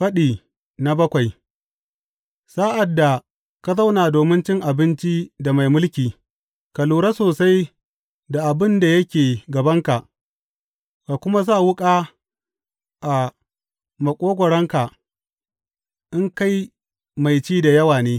Faɗi bakwai Sa’ad da ka zauna domin cin abinci da mai mulki, ka lura sosai da abin da yake gabanka, ka kuma sa wuƙa a maƙogwaronka in kai mai ci da yawa ne.